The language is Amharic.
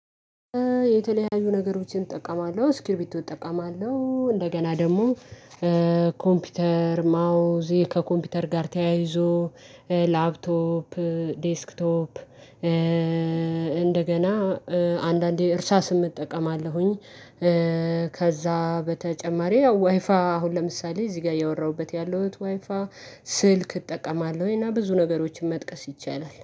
የተለያዩ ነገሮችን እጠቀማለሁ እስኪልቢቶ እጠቀማለሁ እንደገና ደግሞ ኮምፒውተር ማውዝ ከኮምፒውተር ጋር ተያይዞ ላፕቶፕ ዴስክቶፕ እንደገና አንዳንዴ እርሳስም እጠቀማለሁኝ። ከዛ በተጨማሪ ያው ዋይፋይ አሁን ለምሳሌ እዚህ ጋር ያወራሁበት ያለሁት ዋይፋይ ስልክ እጠቀማለሁኝ እና ብዙ ነገሮችን መጥቀስ ይቻላል